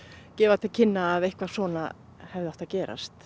gefur til kynna að eitthvað svona hefði átt að gerast